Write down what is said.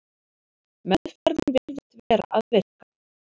Meðferðin virðist vera að virka.